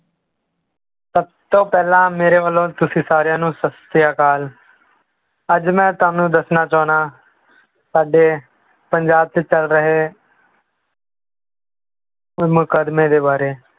ਸਭ ਤੋਂ ਪਹਿਲਾਂ ਮੇਰੇ ਵੱਲੋਂ ਤੁਸੀਂ ਸਾਰਿਆਂ ਨੂੰ ਸਤਿ ਸ੍ਰੀ ਅਕਾਲ, ਅੱਜ ਮੈਂ ਤੁਹਾਨੂੰ ਦੱਸਣਾ ਚਾਹੁਨਾ ਸਾਡੇ ਪੰਜਾਬ 'ਚ ਚੱਲ ਰਹੇ ਮੁਕੱਦਮੇ ਦੇ ਬਾਰੇ